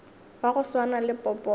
wa go swana le popota